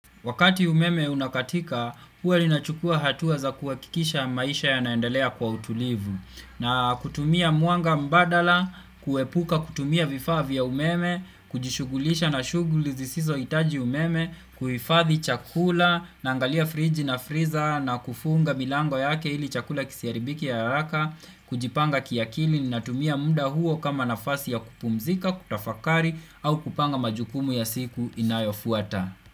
Wakati umeme unakatika, huwa linachukua hatuwa za kuwakikisha maisha yanaendelea kwa utulivu. Na kutumia mwanga mbadala, kuepuka kutumia vifaa vya umeme, kujishugulisha na shuguli zisizo itaji umeme, kuhifathi chakula, naangalia friji na friza, na kufunga milango yake ili chakula kisiharibike haraka, kujipanga kiakili na tumia muda huo kama nafasi ya kupumzika, kutafakari, au kupanga majukumu ya siku inayofuata.